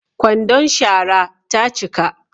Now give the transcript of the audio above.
Kwandon shara ta cika